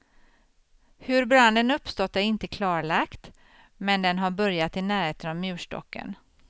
Hur branden uppstått är inte klarlagt, men den har börjat i närheten av murstocken.